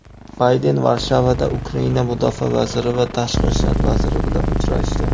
Bayden Varshavada Ukraina Mudofaa vaziri va Tashqi ishlar vaziri bilan uchrashdi.